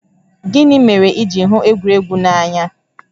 Gịnị mere i ji hụ egwuregwu n'anya?